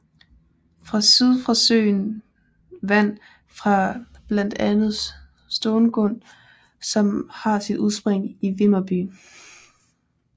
Fra syd får søen vand fra blandt andet Stångån som har sit udspring i Vimmerby